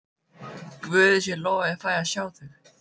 Guði sé lof ég fæ að sjá þig.